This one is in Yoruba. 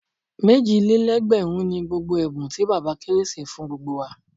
Méjì lé lẹ́gbẹ̀rún ni gbogbo ẹ̀bùn tí bàbá kérésì fún gbogbo wa.